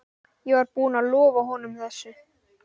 Ég var búinn að lofa honum þessu.